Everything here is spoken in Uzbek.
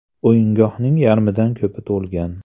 O‘yingohning yarmidan ko‘pi to‘lgan.